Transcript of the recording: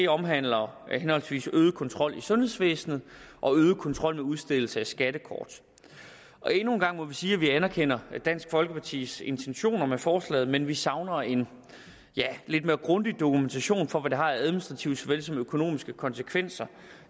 omhandler henholdsvis øget kontrol i sundhedsvæsenet og øget kontrol med udstedelse af skattekort endnu en gang må vi sige at vi anerkender dansk folkepartis intentioner med forslaget men vi savner en lidt mere grundig dokumentation for hvad det har af administrative såvel som økonomiske konsekvenser